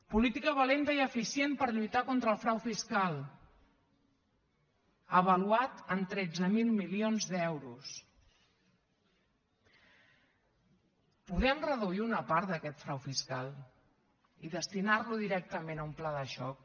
política valenta i eficient per lluitar contra el frau fiscal avaluat en tretze mil milions d’euros podem reduir una part d’aquest frau fiscal i destinar lo directament a un pla de xoc